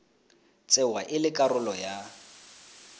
tsewa e le karolo ya